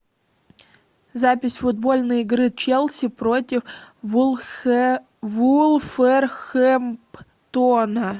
запись футбольной игры челси против вулверхэмптона